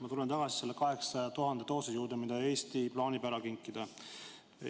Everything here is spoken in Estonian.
Ma tulen tagasi nende 800 000 doosi juurde, mida Eesti plaanib ära kinkida.